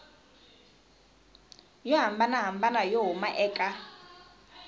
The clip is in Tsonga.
yo hambanahambana yo huma eka